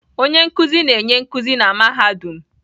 Onye nkuzi na-enye nkuzi na mahadum